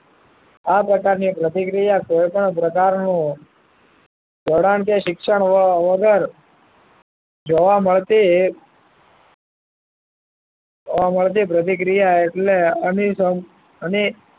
આ પ્રકારની પ્રતિક્રિયા કોઈપણ પ્રકારનું જોડાણ કે શિક્ષણ વગર જોવા મળતી જોવા મળતી પ્રતિક્રિયા એટલે અની અણી